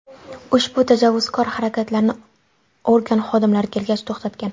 Ushbu tajovuzkor harakatlarini organ xodimlari kelgach to‘xtatgan.